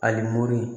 Ali mori